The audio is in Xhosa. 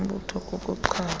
zombutho kuku chaza